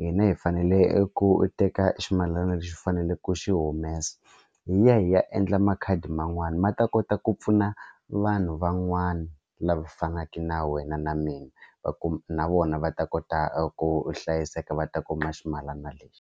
hina hi fanele ku teka ximalani lexi u faneleke ku xi humesa hi ya hi ya endla makhadi man'wana ma ta kota ku pfuna vanhu van'wana lava fanaka na wena na mina va kuma na vona va ta kota ku hlayiseka va ta kuma ximalana lexi.